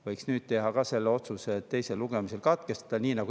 Võiks ka nüüd teha otsuse, et eelnõu teine lugemine tuleks katkestada.